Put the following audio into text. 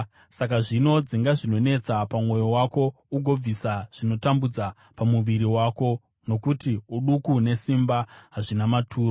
Saka zvino dzinga zvinonetsa pamwoyo wako ugobvisa zvinotambudza pamuviri wako, nokuti uduku nesimba hazvina maturo.